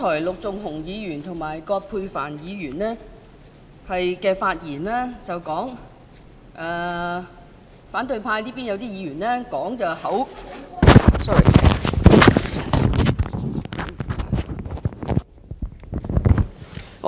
陸頌雄議員和葛珮帆議員剛才在發言中提到，有些反對派議員是......